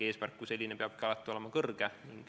Eesmärk kui selline peabki olema alati kõrge.